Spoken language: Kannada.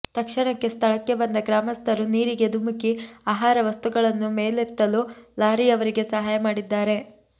ತಕ್ಷಣ ಸ್ಥಳಕ್ಕೆ ಬಂದ ಗ್ರಾಮಸ್ಥರು ನೀರಿಗೆ ಧುಮುಕಿ ಆಹಾರ ವಸ್ತುಗಳನ್ನು ಮೇಲೆತ್ತಲು ಲಾರಿಯವರಿಗೆ ಸಹಾಯ ಮಾಡಿದ್ದಾರೆ